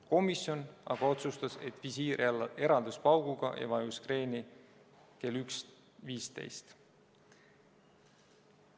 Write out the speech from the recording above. Komisjon aga otsustas, et visiir eraldus pauguga ja laev vajus kreeni kell 1.15.